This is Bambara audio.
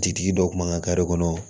Jitigi dɔ kun b'an ka kɔnɔ